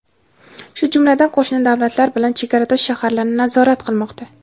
shu jumladan qo‘shni davlatlar bilan chegaradosh shaharlarni nazorat qilmoqda.